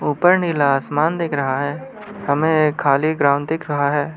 ऊपर नीला आसमान देख रहा है हमें ये खाली ग्राउंड दिख रहा है।